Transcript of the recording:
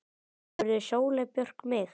spurði Sóley Björk mig.